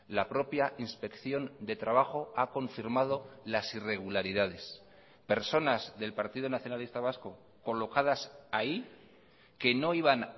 la propia inspección de trabajo ha confirmado las irregularidades personas del partido nacionalista vasco colocadas ahí que no iban